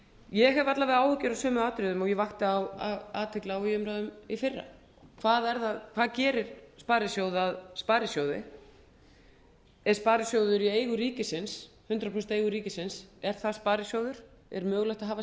ég hef alla vega áhyggjur af sömu atriðum og ég vakti athygli á í umræðum í fyrra hvað gerir sparisjóð að sparisjóði er sparisjóður hundrað prósent í eigu ríkinu er það sparisjóður er mögulegt að hafa